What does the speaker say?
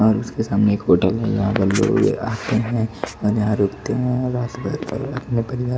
और उसके सामने एक होटल है यहां पर लोग आते हैं और यहां रुकते हैं अपने परिवार--